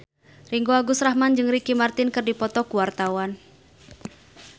Ringgo Agus Rahman jeung Ricky Martin keur dipoto ku wartawan